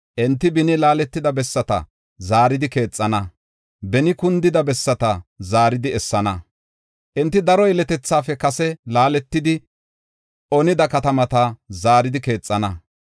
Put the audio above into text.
Enti beni laaletida bessata zaaridi keexana; beni kundida bessata zaaridi essana. Enti daro yeletethaafe kase laaletidi onida katamata zaaridi keexana.